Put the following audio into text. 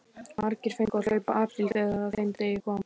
Margir fengu að hlaupa apríl þegar að þeim degi kom.